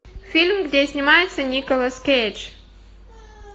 фильм где снимается николас кейдж